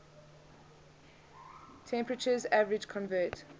temperatures average convert